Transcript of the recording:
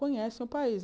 Conhecem o país.